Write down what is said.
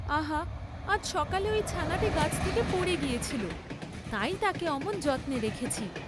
আহা, আজ সকালে ঐ ছানাটি গাছ থেকে পড়ে গিয়েছিল, তাই তাকে অমন যত্নে রেখেছি।